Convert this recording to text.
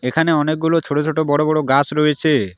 এখানে অনেকগুলো ছোট ছোট বড় বড় গাস রয়েছে।